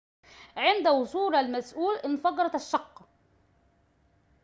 عند وصول المسئول انفجرت الشقة